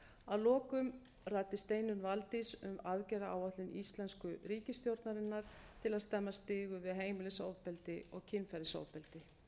að lokum ræddi steinunn valdís um aðgerðaáætlun íslensku ríkisstjórnarinnar til að stemma stigu við heimilisofbeldi og kynferðisofbeldi